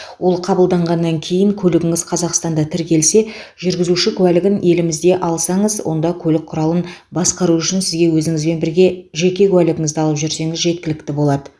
ол қабылданғаннан кейін көлігіңіз қазақстанда тіркелсе жүргізуші куәлігін елімізде алсаңыз онда көлік құралын басқару үшін сізге өзіңізбен бірге жеке куәлігіңізді алып жүрсеңіз жеткілікті болады